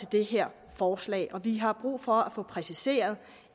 det her forslag vi har brug for at få præciseret